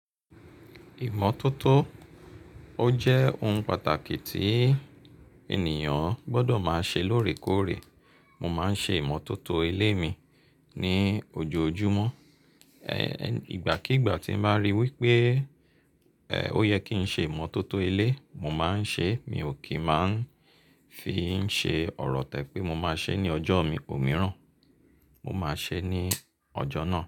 Ìmọ́tótó, ó jẹ́ ohun pàtàkì tí ènìyàn gbọ́dọ̀ máa ṣe lóòrèkóòrè. Mo máa ń ṣe ìmọ́tótó ilé mi ní ojoojúmọ́. Ẹ̀, ìgbàkígbà tí màá rí wípé, ẹ́, ó yẹ kí n ṣe ìmọ́tótó ilé, mo máa ń ṣe é. Mi ò kí ń máa ń fi í ṣe ọ̀rọ̀ tẹ́ pé mo máa ṣe é ní ọjọ́ mi ò míràn. Mo máa ṣe é ní ọjọ́ náà.